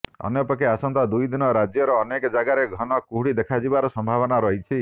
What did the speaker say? ଅନ୍ୟପକ୍ଷେ ଆସନ୍ତା ଦୁଇଦିନ ରାଜ୍ୟର ଅନେକ ଜାଗାରେ ଘନ କୁହୁଡ଼ି ଦେଖାଯିବାର ସମ୍ଭାବନା ରହିଛି